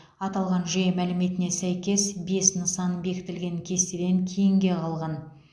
аталған жүйе мәліметіне сәйкес бес нысан бекітілген кестеден кейінге қалған